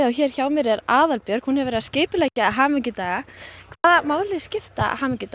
hér hjá mér er Aðalbjörg skipuleggjandi hamingjudaga hvaða máli skipta hamingjudagar